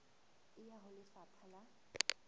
e ya ho lefapha la